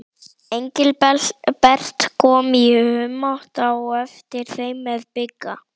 Engilbert kom í humátt á eftir þeim með Bigga.